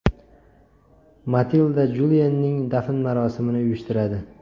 Matilda Juliyenning dafn marosimini uyushtiradi.